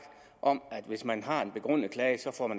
om at man hvis man har en begrundet klage